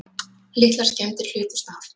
Litlar skemmdir hlutust af